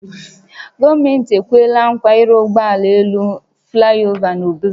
Gọọmenti ekweela nkwa ịrụ ụgbọ elu flaịova n’Obosi